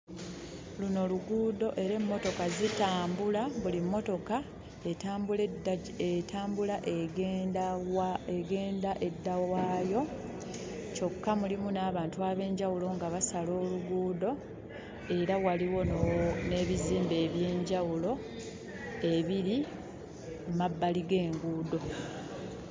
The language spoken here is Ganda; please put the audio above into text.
Luno luguudo era emmotoka zitambula. Buli mmotoka etambula edda gye etambula egenda wa egenda edda waayo, kyokka mulimu n'abantu ab'enjawulo nga basala oluguudo era waliwo no n'ebizimbe eby'enjawulo ebiri Emabbali g'enguudo.